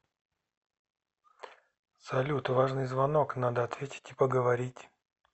салют важный звонок надо ответить и поговорить